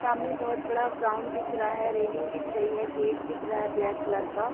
सामने बहुत बड़ा ग्राउंड दिख रहा है। रेलिंग दिख रही है गेट दिख रहा है ब्लैक कलर का--